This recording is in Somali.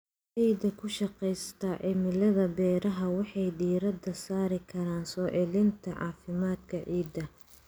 Beeralayda ku shaqeysta cilmiga beeraha waxay diiradda saari karaan soo celinta caafimaadka ciidda.